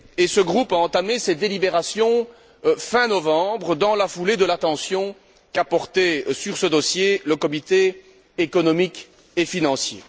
Ce groupe a entamé ses délibérations fin novembre, dans la foulée de l'attention qu'a porté à ce dossier le comité économique et financier.